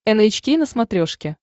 эн эйч кей на смотрешке